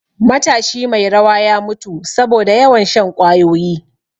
Matashi mai rawa ya mutu saboda yawan shan ƙwayoyi